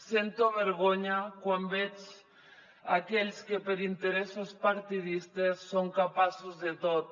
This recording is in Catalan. sento vergonya quan veig aquells que per interessos partidistes són capaços de tot